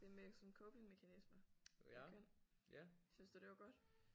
Det med sådan copingmekanismer og køn. Syntes du det var godt?